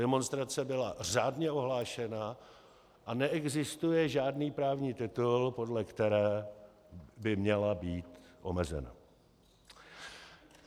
Demonstrace byla řádně ohlášena a neexistuje žádný právní titul, podle které by měla být omezena.